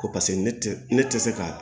Ko paseke ne tɛ ne tɛ se ka